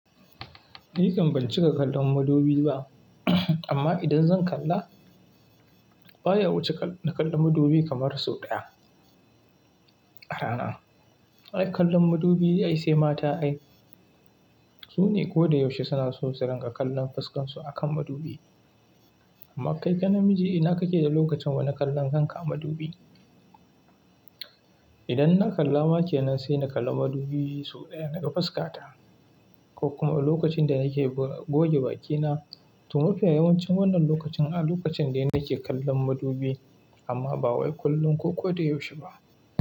Ni kam ban cika kallon madubi ba, amma idan zan kalla baya wuce na kalla madubi kamar sau ɗaya a rana. Ai kallon madubi ai sai mata ai. Su ne kodayaushe suna so su rinƙa kallon fuskan su a kan madubi. Amma kai kai namiji ina kake da lokacin wane kallon kanka a madubi? Idan na kalla ma kenan sai na kalla madubi sau ɗaya na ga fuska ta ko kuma lokacin da nake goge bakina. To mafiya yawancin wannan lokacin a lokacin dai nake kallon madubi amma ba wai kullum ko ko da yaushe ba.